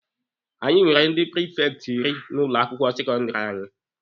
Anyị nwere ndi prifekti iri n'ụlọ akwụkwọ sekọndịrị anyị.